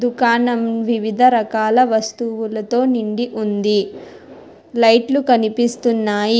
కాణం వివిధరకాల వస్తువులతో నిండి ఉంది లైట్లు కనిపిస్తున్నాయి.